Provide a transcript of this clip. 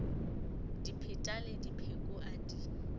dipheta le dipheko a di